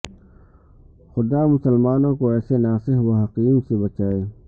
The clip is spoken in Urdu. خدا مسلمانوں کو ایسے ناصح و حکیم سے بچائے